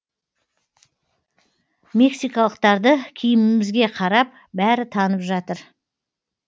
мексикалықтарды киімімізге қарап бәрі танып жатыр